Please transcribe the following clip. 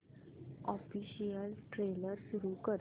official trailer सुरू कर